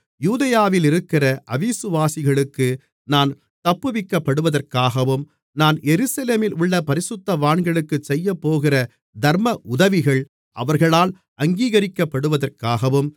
யூதேயாவிலிருக்கிற அவிசுவாசிகளுக்கு நான் தப்புவிக்கப்படுவதற்காகவும் நான் எருசலேமிலுள்ள பரிசுத்தவான்களுக்குச் செய்யப்போகிற தர்மஉதவிகள் அவர்களால் அங்கீகரிக்கப்படுவதற்காகவும்